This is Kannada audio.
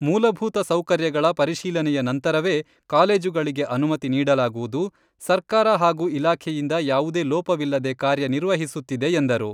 ಮೂಲಭೂತ ಸೌಕರ್ಯಗಳ ಪರಿಶೀಲನೆಯ ನಂತರವೆ ಕಾಲೇಜುಗಳಿಗೆ ಅನುಮತಿ ನೀಡಲಾಗುವುದು, ಸರ್ಕಾರ ಹಾಗೂ ಇಲಾಖೆಯಿಂದ ಯಾವುದೇ ಲೋಪವಿಲ್ಲದೆ ಕಾರ್ಯ ನಿರ್ವಹಿಸುತ್ತಿದೆ ಎಂದರು.